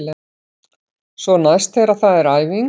Svo næst þegar það er æfing.